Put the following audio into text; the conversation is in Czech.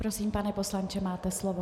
Prosím, pane poslanče, máte slovo.